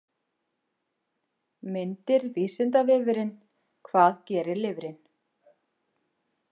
Myndir Vísindavefurinn: Hvað gerir lifrin?